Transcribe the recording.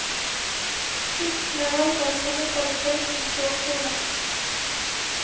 Frukten er altså av samme kvalitet som såkornet.